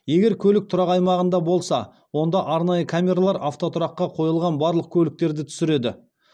егер көлік тұрақ аймағында болса онда арнайы камералар автотұраққа қойылған барлық көліктерді түсіреді